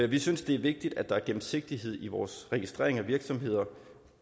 vi synes det er vigtigt at der er gennemsigtighed i vores registrering af virksomheder